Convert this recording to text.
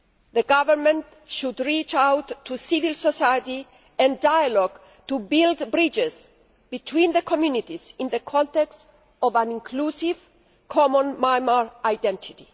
The Government should reach out to civil society and dialogue to build bridges between the communities in the context of an inclusive, common Myanmar identity.